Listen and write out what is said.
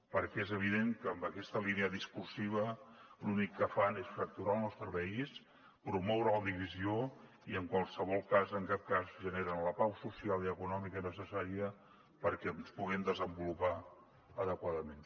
perquè és evident que amb aquesta línia discursiva l’únic que fan és fracturar el nostre país promoure la divisió i en qualsevol cas en cap cas generen la pau social i econòmica necessària perquè ens puguem desenvolupar adequadament